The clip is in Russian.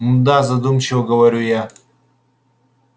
мда задумчиво говорю я